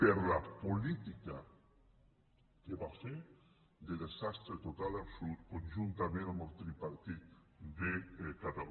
per la política que va fer de desastre total i absolut conjuntament amb el tripartit de catalunya